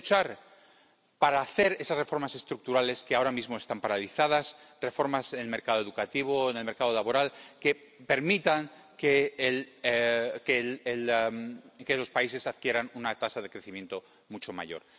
Pueden luchar para hacer esas reformas estructurales que ahora mismo están paralizadas —reformas en el mercado educativo o en el mercado laboral— y que permitan que los países adquieran una tasa de crecimiento mucho mayor.